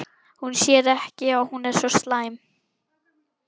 Hún sér að hún er ekki svo slæm.